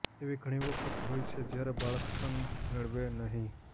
એવી ઘણી વખત હોય છે જ્યારે બાળક સ્તન મેળવે નહીં